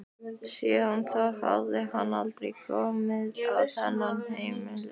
Síðan þá hafði hann aldrei komið á þetta heimili.